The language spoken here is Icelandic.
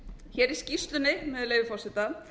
hér í skýrslunni með leyfi forseta